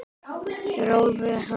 Hrólfur hlær.